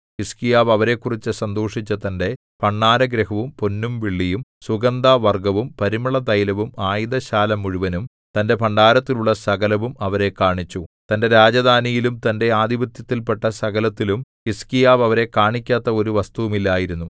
ഹിസ്കീയാവ് അവരെക്കുറിച്ചു സന്തോഷിച്ചു തന്റെ ഭണ്ഡാരഗൃഹവും പൊന്നും വെള്ളിയും സുഗന്ധവർഗ്ഗവും പരിമളതൈലവും ആയുധശാല മുഴുവനും തന്റെ ഭണ്ഡാരത്തിലുള്ള സകലവും അവരെ കാണിച്ചു തന്റെ രാജധാനിയിലും തന്റെ ആധിപത്യത്തിൽ പെട്ട സകലത്തിലും ഹിസ്കീയാവ് അവരെ കാണിക്കാത്ത ഒരു വസ്തുവും ഇല്ലായിരുന്നു